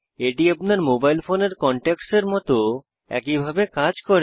এটি আপনার মোবাইল ফোনের কনট্যাক্ট এর মত একই ভাবে কাজ করে